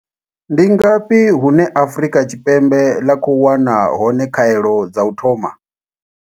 Ndi ngafhi hune Afrika Tshipembe ḽa khou wana hone khaelo dza u thoma?